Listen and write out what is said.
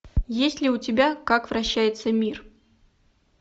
есть ли у тебя как вращается мир